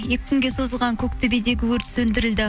екі күнге созылған көк төбедегі өрт сөндірілді